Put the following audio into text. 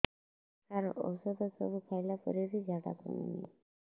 ସାର ଔଷଧ ସବୁ ଖାଇଲା ପରେ ବି ଝାଡା କମୁନି